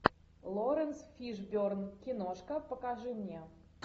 лоренс фишберн киношка покажи мне